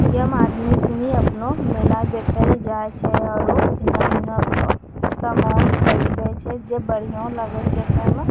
यम आदमी सनि अपना मेला देखल जाए छे अरो हिन्ना-हुन्ना अपनो सामान खरीदे छे जे बढ़ियों लागल देखे म।